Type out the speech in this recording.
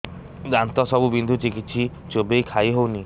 ଦାନ୍ତ ସବୁ ବିନ୍ଧୁଛି କିଛି ଚୋବେଇ ଖାଇ ହଉନି